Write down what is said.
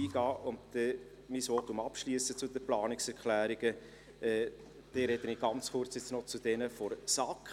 Ich will mein Votum zu den Planungserklärungen bald abschliessen, doch vorher spreche ich noch zu den Planungserklärungen der SAK.